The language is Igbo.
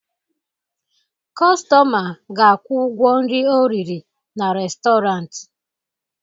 Kọstọma ga-akwụ ụgwọ nri o riri na restọrant.